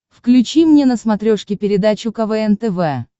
включи мне на смотрешке передачу квн тв